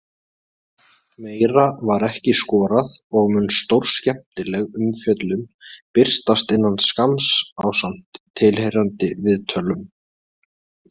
Meira var ekki skorað og mun stórskemmtileg umfjöllun birtast innan skamms ásamt tilheyrandi viðtölum.